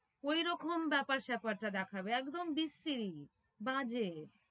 ওই রকম ব্যাপার স্যাপারটা দেখাবে একদম বিচ্ছিরি বাজে।